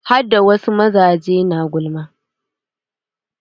Hada wasu mazaje na gulma.